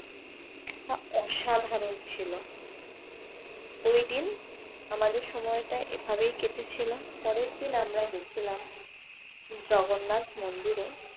অসাধারণ ছিল। ওইদিন আমাদের সময়টা এভাবেই কেটেছিল। পরের দিন আমরা গেছিলাম জগন্নাথ মন্দিরে